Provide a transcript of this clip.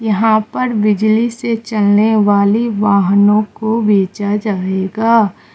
यहां पर बिजली से चलने वाली वाहनों को भेजा जाएगा।